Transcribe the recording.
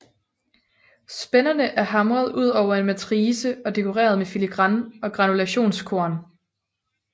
Spænderne er hamret ud over en matrice og dekoreret med filigran og granulationskorn